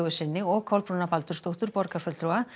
sinni og Kolbrúnar Baldursdóttur borgarfulltrúa